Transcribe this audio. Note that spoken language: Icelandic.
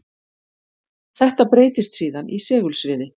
Þetta breytist síðan í segulsviði.